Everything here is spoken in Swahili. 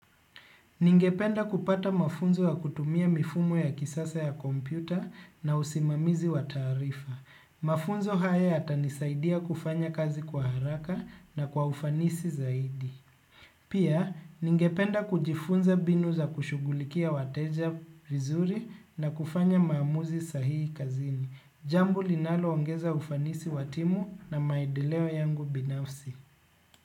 Ningependa kupata mafunzo ya kutumia mifumo ya kisasa ya kompyuta na usimamizi wa taarifa. Mafunzo haya yatanisaidia kufanya kazi kwa haraka na kwa ufanisi zaidi. Pia, ningependa kujifunza mbinu za kushughulikia wateja vizuri na kufanya maamuzi sahihi kazini. Jambo linaloongeza ufanisi wa timu na maendeleo yangu binafsi.